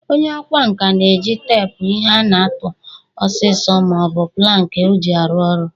Onye ọkwa nka na-eji teepu ihe a tụa osiso ma ọ bụ planki o ji arụ ọrụ.